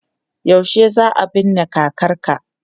Yaushe za a binne kakarka?